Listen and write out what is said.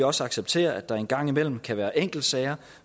også acceptere at der en gang imellem kan være enkeltsager